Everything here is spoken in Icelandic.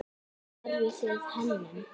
Lærðuð þið hönnun?